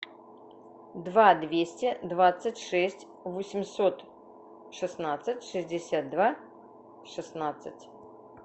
два двести двадцать шесть восемьсот шестнадцать шестьдесят два шестнадцать